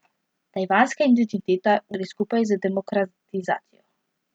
Tajvanska identiteta gre skupaj z demokratizacijo.